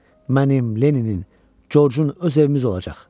Mənim Lenninin, Corcun öz evimiz olacaq.